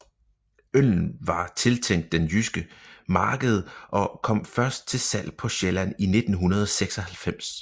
Øllen var tiltænkt den jyske marked og kom først til salg på Sjælland i 1996